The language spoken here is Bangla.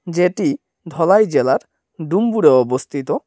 যেটি ধলাই জেলার ডুমবুরে অবস্থিত।